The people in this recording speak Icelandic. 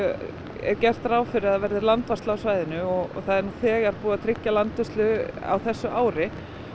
er gert ráð fyrir að það verði landvarsla á svæðinu og það er nú þegar búið að tryggja landvörslu á þessu ári